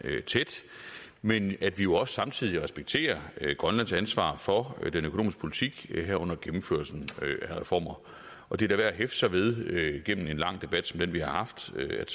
tæt men at vi jo samtidig respekterer grønlands ansvar for den økonomiske politik herunder gennemførelsen af reformer og det er da værd at hæfte sig ved igennem en lang debat som den vi har haft at